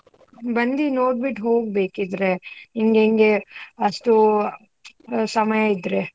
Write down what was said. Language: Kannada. ಬಂದಿ ನೋಡ್ಬಿಟ್ಟು ಹೋಗ್ ಬೇಕಿದ್ರೆ, ನಿನ್ಗೆ ಅಷ್ಟು ಊ~ ಸಮಯ ಇದ್ರೆ.